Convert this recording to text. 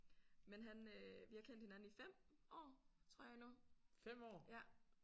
Men han øh vi har kendt hinanden i 5 år tror jeg nu ja